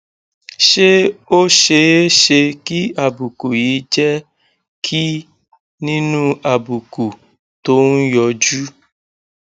ṣé ó ṣeé ṣe kí àbùkù yìí jẹ kí nínú àbùkù tó ń yọjú